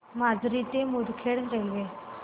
माजरी ते मुदखेड रेल्वे